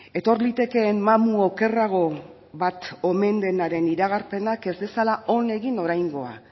etor litekeen mamu okerrago bat omen denaren iragarpenak ez dezala on egin oraingoa